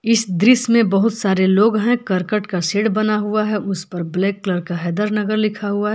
इस दृश्य में बहुत सारे लोग हैं करकट का सेड बना हुआ है उस पर ब्लैक कलर का हैदर नगर लिखा हुआ है।